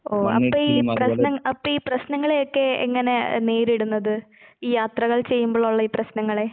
ഓ അപ്പയീ പ്രശ്ന അപ്പയീ പ്രശ്നങ്ങളെയൊക്കെ എങ്ങനെ നേരിടുന്നത്? യാത്രകൾ ചെയ്യുമ്പളൊള്ള ഈ പ്രശ്നങ്ങളെ?